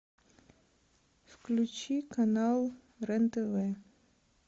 включи канал рен тв